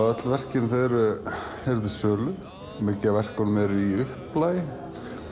öll verkin eru til sölu mikið af verkum eru í upplagi